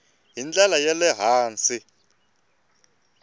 hi ndlela ya le hansi